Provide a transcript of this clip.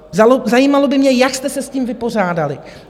Zajímalo by mě, jak jste se s tím vypořádali.